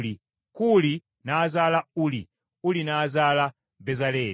Kuuli n’azaala Uli, Uli n’azaala Bezaleeri.